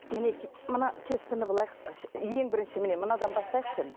мінекей мына тестаны былай ең бірінші міне мынадан бастайықшы